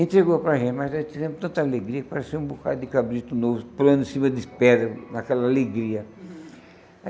Entregou para a gente, mas a gente teve tanta alegria que parecia um bocadinho de cabrito novo pulando em cima de pedra, aquela alegria.